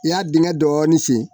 I y'a dingɛ dɔɔnin sen